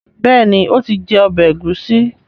béèni o tí jé ọbẹ Egusi.